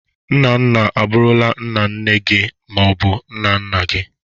Nna nna abụrụla nna nne gi ma ọ bụ nna nna gi.